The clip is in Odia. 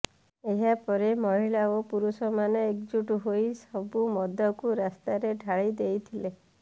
ଏହା ପରେ ମହିଳା ଓ ପୁରୁଷମାନେ ଏକଜୁଟ ହୋଇ ସବୁ ମଦକୁ ରାସ୍ତାରେ ଢାଳି ଦେଇଥିଲେ